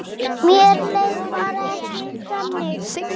Ekki nema rétt í svip.